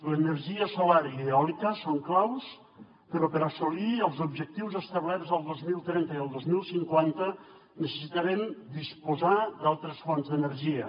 l’energia solar i eòlica són claus però per assolir els objectius establerts el dos mil trenta i el dos mil cinquanta necessitarem disposar d’altres fonts d’energia